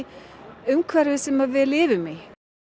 umhverfi sem við lifum í